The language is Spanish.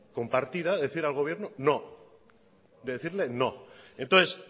compartida de decir al gobierno no de decirle no entonces